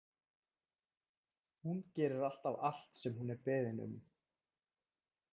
Hún gerir alltaf allt sem hún er beðin um.